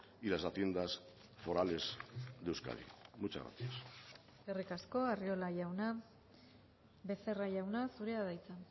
y las haciendas forales de euskadi muchas gracias eskerrik asko arriola jauna becerra jauna zurea da hitza